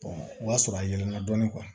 o y'a sɔrɔ a yɛlɛlana dɔɔnin